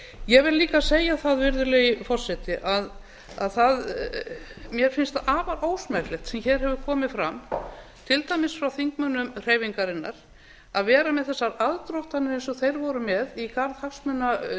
ég vil líka segja það virðulegi forseti að mér finnst það afar ósmekklegt sem hér hefur komið fram til dæmis frá þingmönnum hreyfingarinnar að vera með þar aðdróttanir eins og þeir voru með í garð